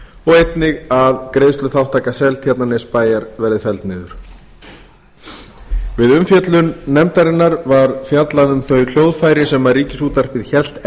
og einnig að greiðsluþátttaka seltjarnarnesbæjar verði felld niður við umfjöllun nefndarinnar var fjallað um þau hljóðfæri sem ríkisútvarpið hélt